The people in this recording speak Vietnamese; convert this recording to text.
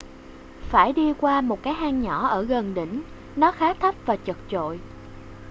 phải đi qua một cái hang nhỏ ở gần đỉnh nó khá thấp và chật chội